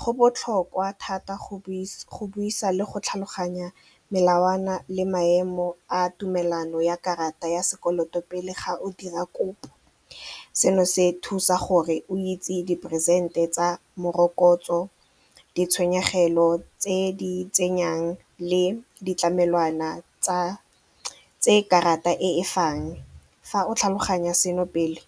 Go botlhokwa thata go buisa le go tlhaloganya melawana le maemo a tumelano ya karata ya sekoloto pele ga o dira kopo, seno se thusa gore o itse diperesente tsa morokotso, ditshenyegelo tse di tsengwang le ditlamelwana tse karata e fang. Fa o tlhaloganya seno pele